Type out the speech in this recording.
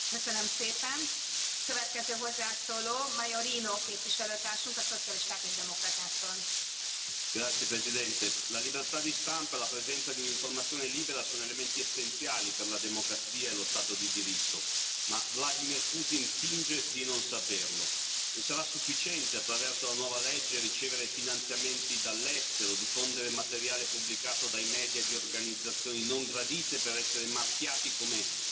Signora Presidente, onorevoli colleghi, la libertà di stampa e la presenza di un'informazione libera sono elementi essenziali per la democrazia e lo Stato di diritto, ma Vladimir Putin finge di non saperlo e sarà sufficiente attraverso la nuova legge ricevere finanziamenti dall'estero, diffondere materiale pubblicato dai media di organizzazioni non gradite per essere marchiati come agenti stranieri, finendo così in una lista